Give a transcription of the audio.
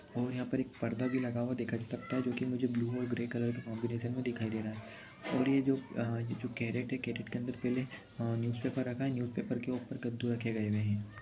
और यहाँ पर एक पर्दा भी लगा हुआ देखा सकता है जोकि मुझे ब्लू और ग्रे कलर कॉम्बिनेसन में दिखाई दे रहा है और ये जो अ ये जो कैरेट है कैरेट के अंदर पहले अ न्यूज पेपर रखा है और न्यूज पेपर के ऊपर कद्दू रखे गए हुए हैं।